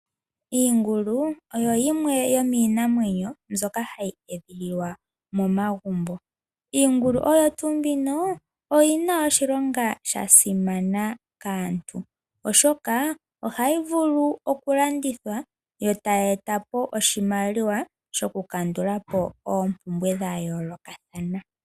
Iingulu oyo yimwe yomiinamwenyo ndyoka hayi edhililwa momagumbo. Iingulu oyina oshilonga shasimana kaantu oshoka ohayi vulu okulandithwa etayi etapo oshimaliwa shoku kandulapo oompumbwe dhayoolokathana.